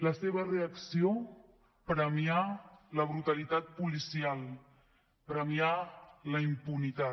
la seva reacció premiar la brutalitat policial premiar la impunitat